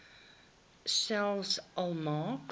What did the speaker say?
selfs al maak